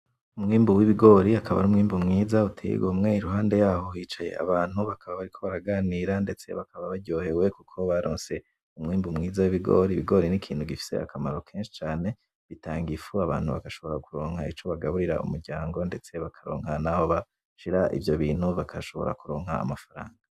Umwimbu w'ibigori akaba ari umwimbu mwiza uteye igomwe. Iruhande yaho hicaye abantu bakaba bariko baraganira ndetse bakaba baryohewe kuko baronse umwimbu mwiza wibigori. Ibigori nikintu gifise akamaro kenshi cane. Bitanga ifu, abantu bagashobora kuronka ico bagaburira umuryango, ndetse bakaronka naho bashira ivyo bintu bagashobora kuronka amafaranga.